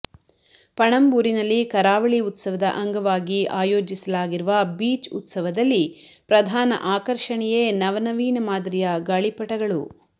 ಪಣಂಬೂರಿನಲ್ಲಿ ಕರಾವಳಿ ಉತ್ಸವದ ಅಂಗವಾಗಿ ಆಯೋಜಿಸಲಾಗಿರುವ ಬೀಚ್ ಉತ್ಸವದಲ್ಲಿ ಪ್ರಧಾನ ಆಕರ್ಷಣೆಯೇ ನವನವೀನ ಮಾದರಿಯ ಗಾಳಿಪಟಗಳು